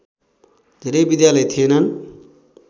धेरै विद्यालय थिएनन्